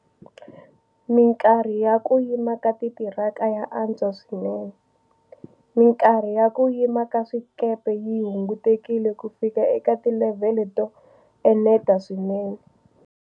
Mikarhi ya ku yima ka titiraka ya antswa swinene. Mikarhi ya ku yima ka swikepe yi hungutekile kufika eka tilevhele to eneta swinene.